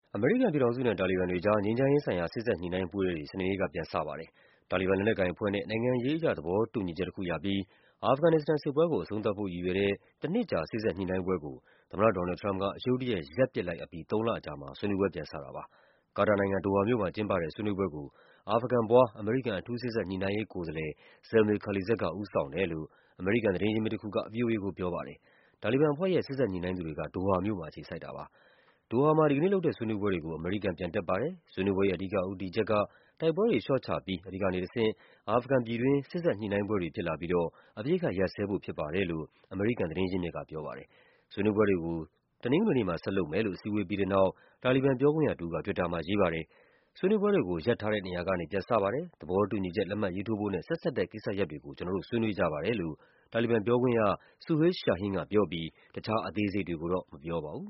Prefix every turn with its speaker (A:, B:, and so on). A: အမေရိကန်ပြည်ထောင်စုနဲ့ တာလီဘန်တွေကြား ငြိမ်းချမ်းရေးဆိုင်ရာ စေ့စပ်ညှိနှိုင်းပွဲတွေ စနေနေ့က ပြန်စပါတယ်။ တာလီဘန် လက်နက်ကိုင်အဖွဲ့နဲ့ နိုင်ငံရေးအရ သဘောတူညီချက်တခုရပြီး အာဖဂန်နစ္စတန်စစ်ပွဲကို အဆုံးသတ်ဖို့ ရည်ရွယ်တဲ့ တနှစ်ကြာ စေ့စပ်ညှိနှိုင်းပွဲကို သမ္မတ Donald Trump က ရုတ်တရက် ရပ်ပစ်လိုက်အပြီး သုံးလအကြာမှာ ဆွေးနွေးပွဲ ပြန်စတာပါ။ ကာတာနိုင်ငံ၊ ဒိုဟာမြို့မှာ ကျင်းပတဲ့ ဆွေးနွေးပွဲကို အာဖဂန်ဖွား အမေရိကန် အထူးစေ့စပ်ညှိနှိုင်းရေး ကိုယ်စားလှယ် Zalmay Khalilzad က ဦးဆောင်တယ်လို့ အမေရိကန် သတင်းရင်းမြစ်တခုက ဗွီအိုအေကို ပြောပါတယ်။ တာလီဘန်အဖွဲ့ရဲ့ စေ့စပ်ညှိနှိုင်းသူတွေက ဒိုဟာမြို့မှာ အခြေစိုက်တာပါ။ “ဒိုဟာမှာ ဒီကနေ့လုပ်တဲ့ ဆွေးနွေးပွဲတွေကို အမေရိကန် ပြန်တက်ပါတယ်။ ဆွေးနွေးပွဲရဲ့ အဓိကဦးတည်ချက်က တိုက်ပွဲတွေ လျှော့ချပြီး အဲဒီကနေတဆင့် အာဖဂန်ပြည်တွင်း စေ့စပ်ညှိနှိုင်းပွဲတွေ ဖြစ်လာပြီးတော့ အပစ်အခတ်ရပ်စဲဖို့ ဖြစ်တယ်လို့ အမေရိကန် သတင်းရင်းမြစ်က ပြောပါတယ်။ ဆွေးနွေးပွဲတွေကို တနင်္ဂနွေနေ့မှာ ဆက်လုပ်မယ်လို့ အစည်းအဝေးပြီးတဲ့နောက် တာလီဘန်ပြောခွင့်ရတဦးက တွစ်တာမှာ ရေးပါတယ်။ “ဆွေးနွေးပွဲတွေကို ရပ်ထားတဲ့ နေရာကနေ ပြန်စပါတယ်၊ သဘောတူညီချက် လက်မှတ်ရေးထိုးဖို့နဲ့ ဆက်စပ်တဲ့ ကျနော်တို့ ဆွေးနွေးကြပါတယ်” လို့ တာလီဘန်ပြောခွင့်ရ Suhail Shaheen ကပြောပြီး တခြားအသေးစိတ်တွေကိုတော့ မပြောပါဘူး။